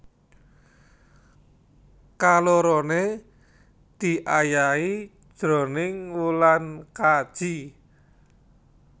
Kaloroné diayahi jroning wulan kaji